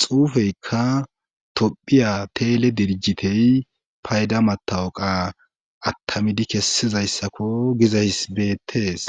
xuufeykka tophiya teele dirjitey payda matawuqa attamidi kessizayssakko gizay betees.